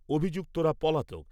অভিযুক্তরা পলাতক।